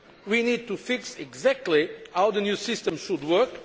We need to fix exactly how the new system should